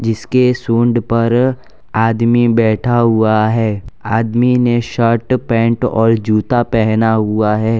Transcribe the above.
इसके सुन्ड पर आदमी बैठा हुआ है आदमी ने शर्ट पैंट और जूता पहना हुआ है।